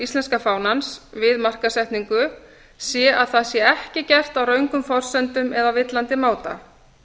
íslenska fánans við markaðssetningu sé að það sé ekki gert á röngum forsendum eða á villandi máta